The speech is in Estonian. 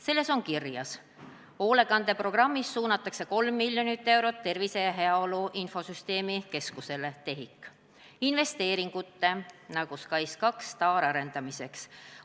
Selles on kirjas: Hoolekande programmist suunatakse 3 mln eurot Tervise ja Heaolu Infosüsteemide Keskusele investeeringute arendamiseks.